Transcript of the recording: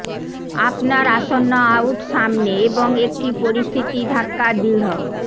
আপনার আসন্ন আউট সামনে এবং একটি পরিস্থিতি ধাক্কা দৃঢ়